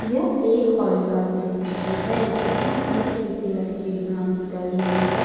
यह एक हॉल का दृश्य है जहां पर एक लड़की डांस कर रही है ।